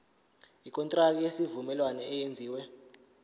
ikontraki yesivumelwano eyenziwe